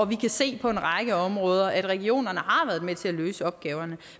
vi kan se på en række områder at regionerne har været med til at løse opgaven